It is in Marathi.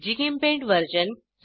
GChemPaint version 01210